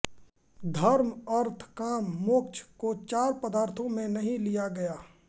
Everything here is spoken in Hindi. धर्म अर्थ काम मोक्ष को चार पदार्थों में नहीं लिया गया